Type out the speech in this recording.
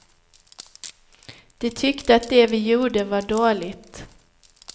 De tyckte att det vi gjorde var dåligt.